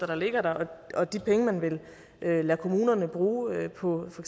der ligger der og de penge man vil lade lade kommunerne bruge på for